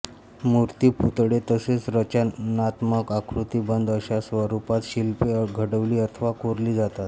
मूर्ती पुतळे तसेच रचनात्मक आकृतिबंध अशा स्वरूपांत शिल्पे घडवली अथवा कोरली जातात